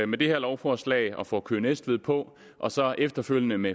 med det her lovforslag og får køge næstved på og så efterfølgende med